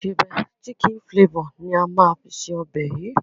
Ìsebẹ́ "chicken flavour" ni á máa fi ṣe ọbẹ̀ yìí.